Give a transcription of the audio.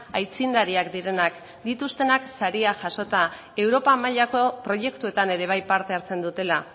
aitzindariak direnak dituztenak sariak jasota europa mailako proiektuetan ere bai parte hartzen dutela